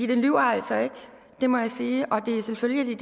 den lyver altså ikke det må jeg sige og det er selvfølgelig